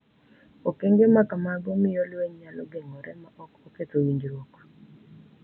Okenge ma kamago miyo lweny nyalo geng’ore ma ok oketho winjruok,